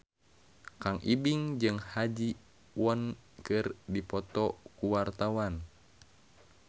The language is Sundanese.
Kang Ibing jeung Ha Ji Won keur dipoto ku wartawan